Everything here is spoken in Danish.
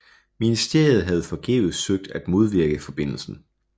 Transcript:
Ministeriet havde forgæves søgt at modvirke forbindelsen